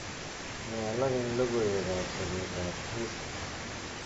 Nee alak eng logoiwekab soketab Hisa